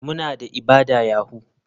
Muna da ibada yahoo.